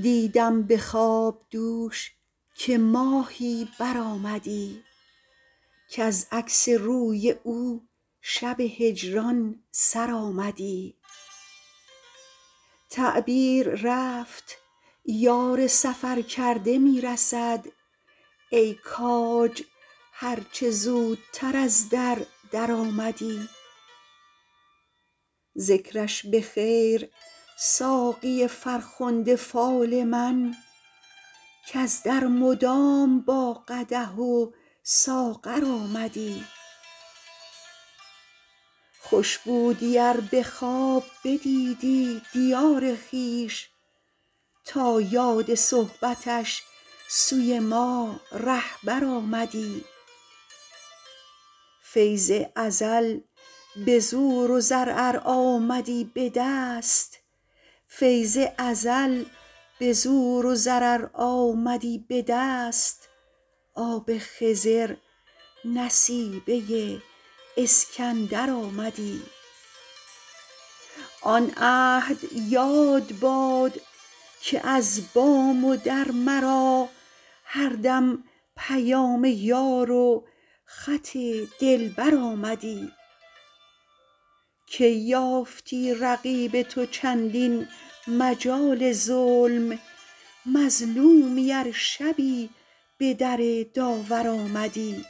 دیدم به خواب دوش که ماهی برآمدی کز عکس روی او شب هجران سر آمدی تعبیر رفت یار سفرکرده می رسد ای کاج هر چه زودتر از در درآمدی ذکرش به خیر ساقی فرخنده فال من کز در مدام با قدح و ساغر آمدی خوش بودی ار به خواب بدیدی دیار خویش تا یاد صحبتش سوی ما رهبر آمدی فیض ازل به زور و زر ار آمدی به دست آب خضر نصیبه اسکندر آمدی آن عهد یاد باد که از بام و در مرا هر دم پیام یار و خط دلبر آمدی کی یافتی رقیب تو چندین مجال ظلم مظلومی ار شبی به در داور آمدی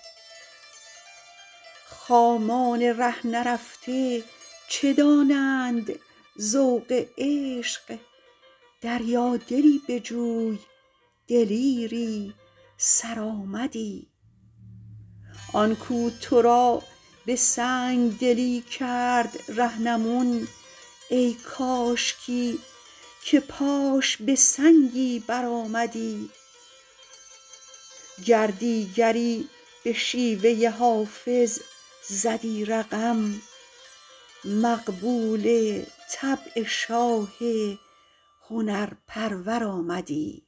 خامان ره نرفته چه دانند ذوق عشق دریادلی بجوی دلیری سرآمدی آن کو تو را به سنگ دلی کرد رهنمون ای کاشکی که پاش به سنگی برآمدی گر دیگری به شیوه حافظ زدی رقم مقبول طبع شاه هنرپرور آمدی